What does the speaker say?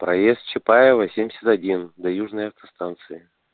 проезд чапаева семьдесят один до южной автостанции